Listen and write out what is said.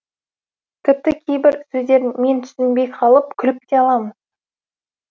тіпті кейбір сөздерін мен түсінбей қалып күліп те аламыз